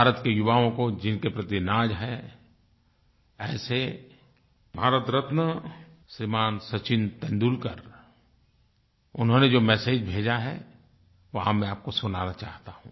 भारत के युवाओं को जिनके प्रति नाज़ है ऐसे भारतरत्न श्रीमान सचिन तेंदुलकर उन्होंने जो मेसेज भेजा है वह मैं आपको सुनाना चाहता हूँ